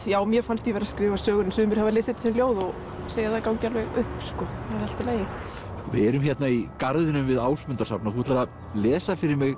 já mér fannst ég vera að skrifa sögur sumir hafa lesið þetta sem ljóð og segja að það gangi alveg upp við erum hérna í garðinum við Ásmundarsafn og þú ætlar að lesa fyrir mig